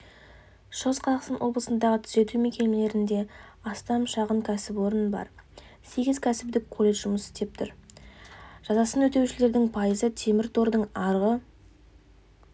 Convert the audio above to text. шығыс қазақстан облысындағы түзету мекемелерінде астам шағын кәсіпорын бар сегіз кәсіптік колледж жұмыс істеп тұр жазасын өтеушілердің пайызы темір тордың арғы